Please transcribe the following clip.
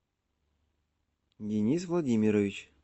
денис владимирович